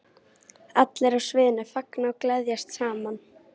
Allir á sviðinu fagna og gleðjast saman.